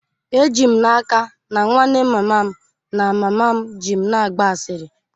Eji m n'aka na nwanne mama m na mama m ji m na-agba asịrị